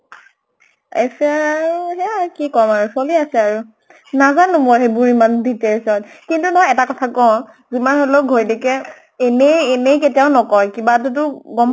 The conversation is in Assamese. ঐচৰ আৰু হেয়া কি কʼম আৰু, চলি আছ আৰু। নাজানো মই সেইবোৰ ইমান details ত। কিন্তু নহয় এটা কথা কওঁ, যমান হলেওঁ ঘৈণীয়েকে এনে এনে কেতিয়াও নকয়। কিবাতো টো গম